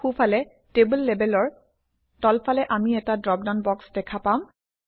সোঁফালে টেবল লেবেলৰ তলফালে আমি এটা ড্ৰপডাউন বক্স দেখা পাম